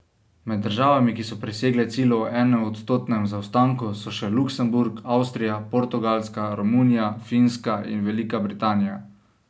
Med državami, ki so presegle cilj o enoodstotnem zaostanku, so še Luksemburg, Avstrija, Portugalska, Romunija, Finska in Velika Britanija.